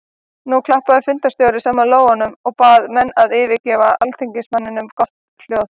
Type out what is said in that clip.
Nú klappaði fundarstjóri saman lófunum og bað menn að gefa alþingismanninum gott hljóð.